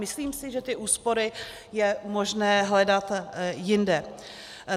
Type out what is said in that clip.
Myslím si, že ty úspory je možné hledat jinde.